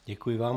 Děkuji vám.